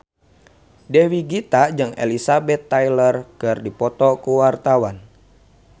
Dewi Gita jeung Elizabeth Taylor keur dipoto ku wartawan